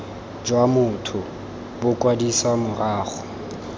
jwa motho bo kwadisiwa morago